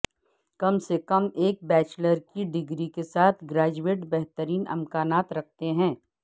کم سے کم ایک بیچلر کی ڈگری کے ساتھ گریجویٹ بہترین امکانات رکھتے ہیں